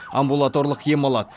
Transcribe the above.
амбулаторлық ем алады